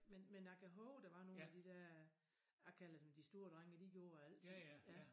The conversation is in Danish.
Men jeg kan hove der var nogen af de dér jeg kalder dem de store drenge de gjorde altid ja